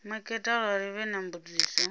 maketa arali vhe na mbudziso